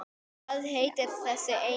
Hvað heitir þessi eyja?